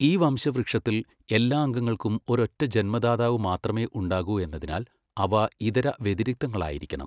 ഈ വംശവൃക്ഷത്തിൽ, എല്ലാ അംഗങ്ങൾക്കും ഒരൊറ്റ ജന്മദാതാവ് മാത്രമേ ഉണ്ടാകൂ എന്നതിനാൽ അവ ഇതര വ്യതിരിക്തങ്ങളായിരിക്കണം.